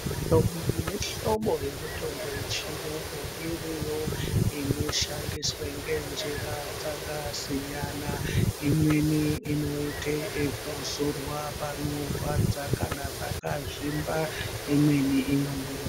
Mihlobo nemihlobo yemutombo yechiyungu iriyo inoshandiswa ngenjira dzakasiyana. Imweni inoite yekuzorwa panorwadza kana pakazvimba. Imweni inomwiwa.